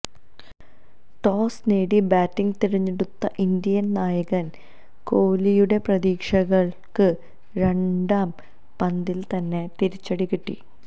toss നേടി batting തിരഞ്ഞെടുത്ത Indian നായകൻ കോഹ്ലിയുടെ പ്രതീക്ഷകൾക്ക് രണ്ടാം പന്തിൽ തന്നെ തിരിച്ചടി കിട്ടി